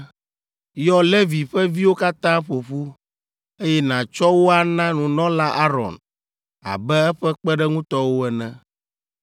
“Yɔ Levi ƒe viwo katã ƒo ƒu, eye nàtsɔ wo ana nunɔla Aron abe eƒe kpeɖeŋutɔwo ene.